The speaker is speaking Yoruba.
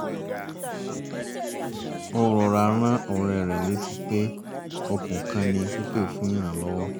ó rọra rán ọ̀rẹ́ rẹ̀ létí pé okun kan ni pípè fún ìrànlọ́wọ́